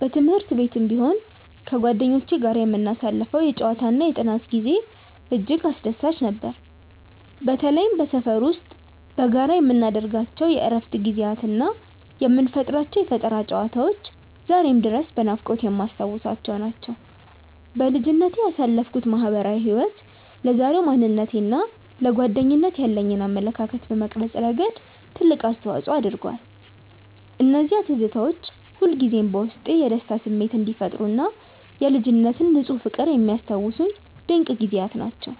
በትምህርት ቤትም ቢሆን ከጓደኞቼ ጋር የምናሳልፈው የጨዋታና የጥናት ጊዜ እጅግ አስደሳች ነበር። በተለይም በሰፈር ውስጥ በጋራ የምናደርጋቸው የእረፍት ጊዜያትና የምንፈጥራቸው የፈጠራ ጨዋታዎች ዛሬም ድረስ በናፍቆት የማስታውሳቸው ናቸው። በልጅነቴ ያሳለፍኩት ማህበራዊ ህይወት ለዛሬው ማንነቴና ለጓደኝነት ያለኝን አመለካከት በመቅረጽ ረገድ ትልቅ አስተዋጽኦ አድርጓል። እነዚያ ትዝታዎች ሁልጊዜም በውስጤ የደስታ ስሜት የሚፈጥሩና የልጅነት ንፁህ ፍቅርን የሚያስታውሱኝ ድንቅ ጊዜያት ናቸው።